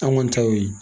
An kɔni ta y'o ye